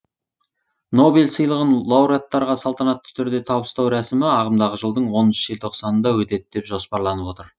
нобель сыйлығын лауреаттарға салтанатты түрде табыстау рәсімі ағымдағы жылдың оныншы желтоқанында өтеді деп жоспарланып отыр